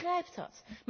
Ik begrijp dat.